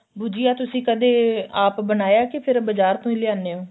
ਗੁਜੀਆ ਫੇਰ ਤੁਸੀਂ ਕਦੇ ਆਪ ਬਣਾਇਆ ਕੇ ਫੇਰ ਬਾਜਾਰ ਤੋਂ ਹੀ ਲਿਆਉਂਦੇ ਓ